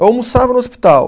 Eu almoçava no hospital.